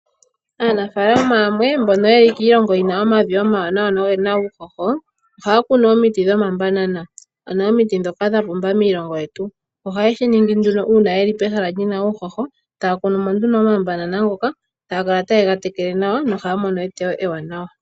Aanafalama yamwe mbono yeli kiilongo yina omavi omawanawa nogena uushosho ohaya kunu omiti dhomabanana ano omiti dhoka dhili dhapumba miilongo yetu. ohaye shiningi nduno uuna yeli pehala lina uushosho taya kunumo nduno omabanana ngoka taya kala taye gatekele nawa no ohaya mono eteyo ewanawa.